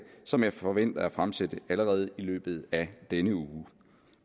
som jeg forventer at fremsætte allerede i løbet af denne uge